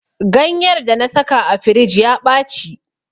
Ganyar da na saka a firij ya ɓaci.